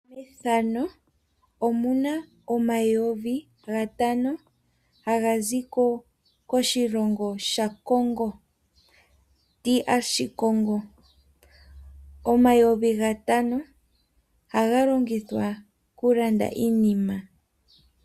Methano omuna omayovi gatano gazi koshilongo sha Congo. Omayovi gatano ohaga longithwa oku landa iinima.